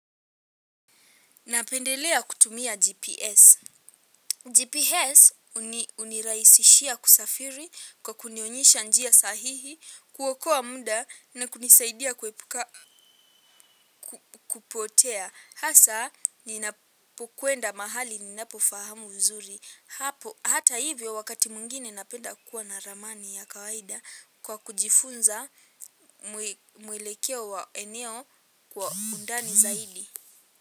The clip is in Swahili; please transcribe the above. Napendelea kutumia GPS. GPS huniraisishia kusafiri kwa kunionyesha njia sahihi, kuokoa muda na kunisaidia kuepuka kupotea. Hasa, ninapokwenda mahali ninapofahamu vizuri. Hata hivyo wakati mwingine napenda kuwa na ramani ya kawaida kwa kujifunza mwelekeo wa eneo kwa undani zaidi.